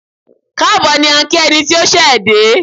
Káàbọ̀ ni à ń kí ẹni tí ó ṣẹ̀ dé.